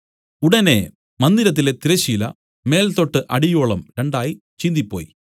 ഉടനെ മന്ദിരത്തിലെ തിരശ്ശീല മേൽതൊട്ട് അടിയോളവും രണ്ടായി ചീന്തിപ്പോയി